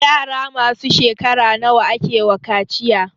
Yara masu shekara nawa akewa kaciya?